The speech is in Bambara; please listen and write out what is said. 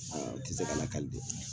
U tɛ se ka lakali bi a